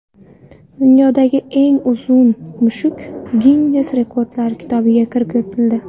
Dunyodagi eng uzun mushuk Ginnes rekordlar kitobiga kiritildi.